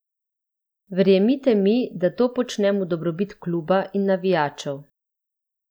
Verjemite mi, da to počnem v dobrobit kluba in navijačev.